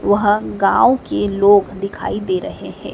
वहां गांव के लोग दिखाई दे रहे हैं।